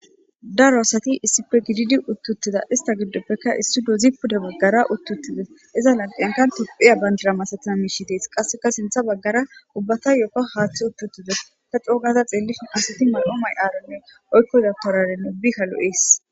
Daaro asati issippe giddidi uti uttides ista gidopeka issinozi pude bagera uti utides iza lanqenka yophphiya bandira masatiza mishshey dessi qaseka sinththa baggara ubbatayo haththey uti utides ta co gada xelishin asati mayo mayarane oykko dabtarera ubbika lo'es.